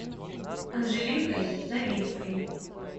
анжеликой новицкой